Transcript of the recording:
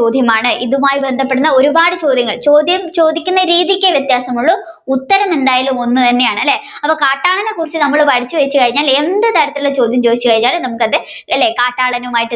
ചോദ്യമാണ് ഇതുമായിട്ട് ബന്ധപ്പെടുന്ന ഒരുപാട് ചോദ്യങ്ങൾ ചോദ്യം ചോദിക്കുന്ന രീതിക്ക് വ്യതാസമേള്ളൂ ഉത്തരം എന്തായാലും ഒന്ന് തന്നെയാണ് അല്ലെ അപ്പൊ കാട്ടാളനെ കുറിച്ച് പഠിച്ചു വെച്ച് കഴിഞ്ഞ എന്ത് തരത്തിലുള്ള ചോദ്യം ചോദിച്ചു കഴിഞ്ഞാലും നമ്മുക്ക് അല്ലെ അത് എന്തെയ്യ കാട്ടാളനുമായി